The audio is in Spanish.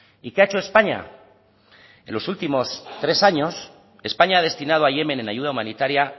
y qué ha hecho españa en los últimos tres años españa ha destinado a yemen en ayuda humanitaria